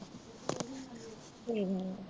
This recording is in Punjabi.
ਕੋਈ ਨਾ।